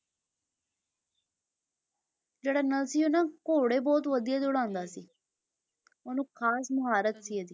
ਜਿਹੜਾ ਨਲ ਸੀ ਉਹ ਨਾ ਘੋੜੇ ਬਹੁਤ ਵਧੀਆ ਦੋੜਾਉਂਦਾ ਸੀ ਉਹਨੂੰ ਖ਼ਾਸ ਮੁਹਾਰਤ ਸੀ ਇਹਦੀ।